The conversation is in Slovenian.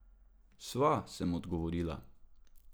Sva, sem odgovorila.